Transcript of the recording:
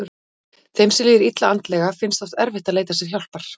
Þeim sem líður illa andlega finnst oft erfitt að leita sér hjálpar.